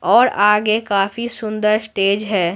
और आगे काफी सुंदर स्टेज है।